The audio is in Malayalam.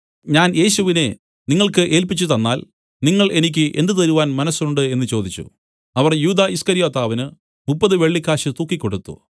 ഞാൻ യേശുവിനെ നിങ്ങൾക്ക് ഏൽപ്പിച്ചു തന്നാൽ നിങ്ങൾ എനിക്ക് എന്ത് തരുവാൻ മനസ്സുണ്ട് എന്നു ചോദിച്ചു അവർ യൂദാ ഈസ്കര്യോത്താവിന് മുപ്പത് വെള്ളിക്കാശ് തൂക്കിക്കൊടുത്തു